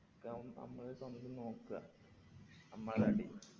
അതൊക്കെ നമ്മള് സ്വന്തം നോക്ക്ക നമ്മളെ തടി